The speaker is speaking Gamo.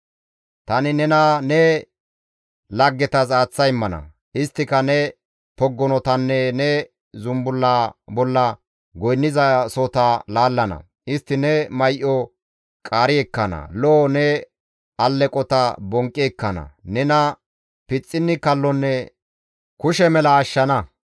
Tani nena ne laggetas aaththa immana; isttika ne poggonotanne ne zumbullaa bolla goynnizasohota laallana; istti ne may7o qaari ekkana; lo7o ne alleqota bonqqi ekkana; nena pixxinni kallonne kushe mela ashshana.